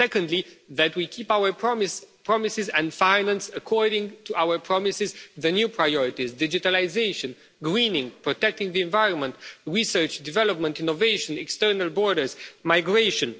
Secondly, that we keep our promises and finance, according to our promises, the new priorities digitalisation, greening, protecting the environment, research, development, innovation, external borders, migration.